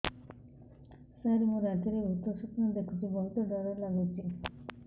ସାର ମୁ ରାତିରେ ଭୁତ ସ୍ୱପ୍ନ ଦେଖୁଚି ବହୁତ ଡର ଲାଗୁଚି